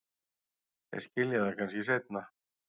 Þeir skilja það kannski seinna.